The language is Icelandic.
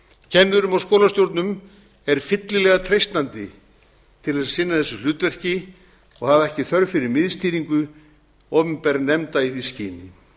kennurum og skólastjórnendum er fyllilega treystandi til að sinna þessu hlutverki og hafa ekki þörf fyrir miðstýringu opinberra nefnda í því skyni